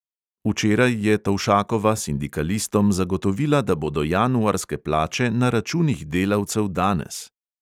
Včeraj je tovšakova sindikalistom zagotovila, da bodo januarske plače na računih delavcev danes.